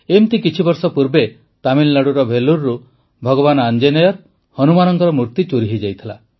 ଏମିତି କିଛିବର୍ଷ ପୂର୍ବେ ତାମିଲନାଡୁର ଭେଲୁରରୁ ଭଗବାନ ଆଞ୍ଜନେୟର ହନୁମାନଙ୍କର ମୂର୍ତ୍ତି ଚୋରି ହୋଇଯାଇଥିଲା